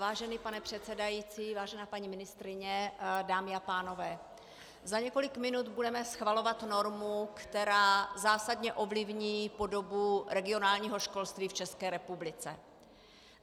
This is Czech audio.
Vážený pane předsedající, vážená paní ministryně, dámy a pánové, za několik minut budeme schvalovat normu, která zásadně ovlivní podobu regionálního školství v České republice.